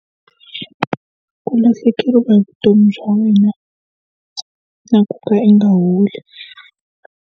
Ku lahlekeriwa hi vutomi bya wena na ku ka i nga holi.